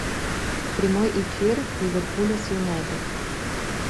прямой эфир ливерпуля с юнайтед